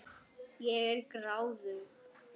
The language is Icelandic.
Ég er gráðug.